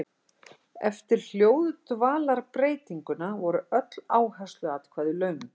Eftir hljóðdvalarbreytinguna voru öll áhersluatkvæði löng.